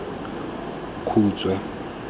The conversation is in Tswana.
khutshwe